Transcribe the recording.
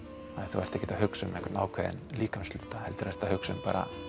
þú ert ekkert að hugsa um einhvern ákveðinn líkamshluta heldur ertu að hugsa um